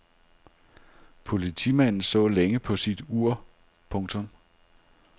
Politimanden så længe på sit ur. punktum